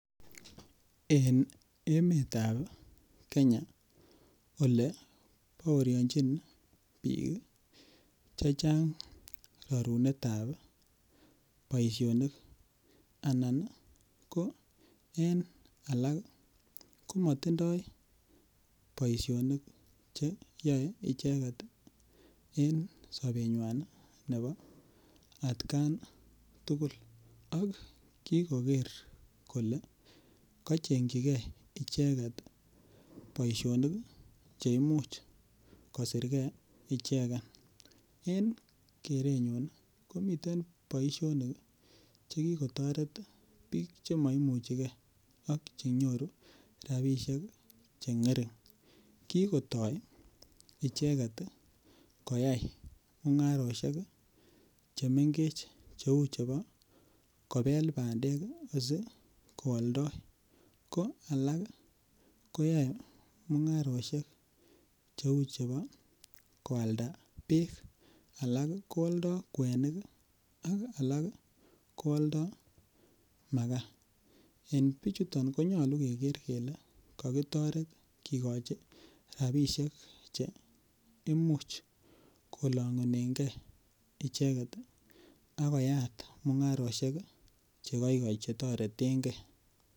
En emetab Kenya Ole baorionjin bik chechang rorunetab boisionik anan ko en alak komatindo boisionik Che yaei icheget en sobenywa nebo atgan tugul ak kikoker kole kochengchijigei icheget boisionik Che imuche kosir ge ichegen en kerenyun ii komiten boisionik Che ki kotoret bik Che moimuche ge ak Che nyoru rabisiek Che ngering kigotoi icheget koyai mungarosiek Che mengech Cheu chebo kobel bandek asi ko aldoi ko alak ko yoe mungarosiek Chei chebo koalda bek alak ko aldoi kwenik ak alak ko aldoi makaa en bichuto konyolu keger kele kokitoret kigochi rabisiek Che Imuch kolongunengei icheget ak koyat mungarosiek Che koigoi Che toreten ge